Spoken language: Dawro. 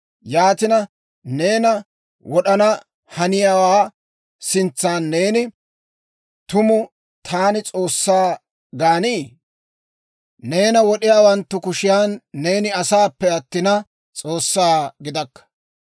Yaatina, neena wod'ana haniyaawaa sintsan neeni, tumu taani s'oossaa gaanii? Neena wod'iyaawanttu kushiyan neeni asaappe attina, s'oossaa gidakka.